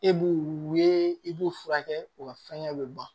E b'u ye i b'u furakɛ u ka fɛngɛ bɛ ban